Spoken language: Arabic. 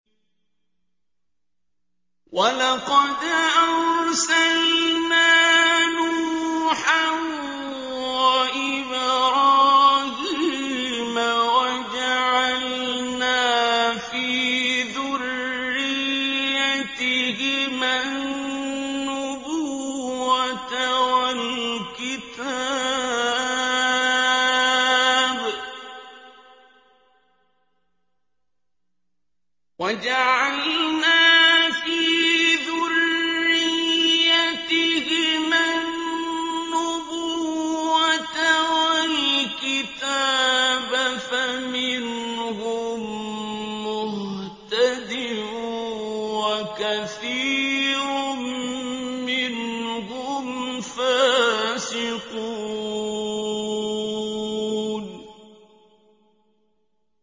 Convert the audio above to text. وَلَقَدْ أَرْسَلْنَا نُوحًا وَإِبْرَاهِيمَ وَجَعَلْنَا فِي ذُرِّيَّتِهِمَا النُّبُوَّةَ وَالْكِتَابَ ۖ فَمِنْهُم مُّهْتَدٍ ۖ وَكَثِيرٌ مِّنْهُمْ فَاسِقُونَ